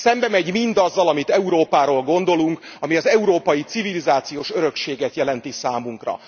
Ez szembemegy mindazzal, amit Európáról gondolunk, ami az európai civilizációs örökséget jelenti számunkra.